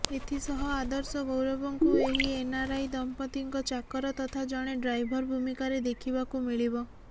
ଏଥିସହ ଆଦର୍ଶ ଗୌରବଙ୍କୁ ଏହି ଏନ୍ଆର୍ଆଇ ଦମ୍ପତିଙ୍କ ଚାକର ତଥା ଜଣେ ଡ୍ରାଇଭର ଭୂମିକାରେ ଦେଖିବାକୁ ମିଳିବ